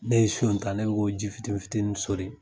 Ne ye siyon ta ne bi k'o ji fitini fitini soli